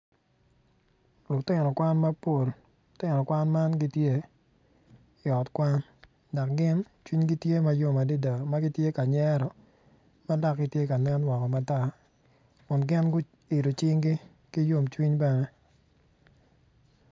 Lutino kwan mapol, lutino kwan man gitye i ot kwan dok gin cwinygi tye mayom adada magitye ka nyero madok gitye ka nen woko matar kun gin gu ilo cinggi ki yom cwiny bene.